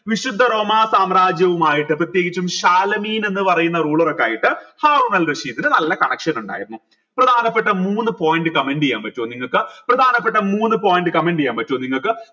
വിശുദ്ധ റോമാ സാമ്രാജ്യവും ആയിട്ട് പ്രത്യേകിച്ചും എന്ന് പറയുന്ന ruler ഒക്കെ ആയിട്ട് ഹാറൂനൽ റഷീദിന് നല്ല connection ഉണ്ടായിരുന്നു പ്രധാനപ്പെട്ട മൂന്ന് point comment ചെയ്യാൻ പറ്റുമോ നിങ്ങക്ക് പ്രധാനപ്പെട്ട മൂന്ന് point comment ചെയ്യാൻ പറ്റുമോ നിങ്ങക്ക്